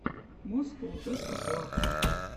москоу тесла клаб